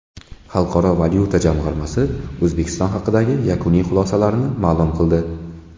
Xalqaro valyuta jamg‘armasi O‘zbekiston haqidagi yakuniy xulosalarini ma’lum qildi.